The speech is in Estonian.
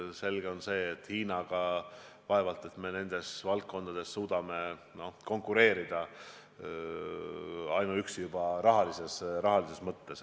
Selge on, et Hiinaga me vaevalt nendes valdkondades suudame konkureerida, ainuüksi juba rahalises mõttes.